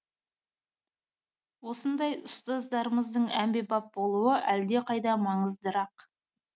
осындай ұстаздарымыздың әмбебап болуы әлдеқайда маңыздырақ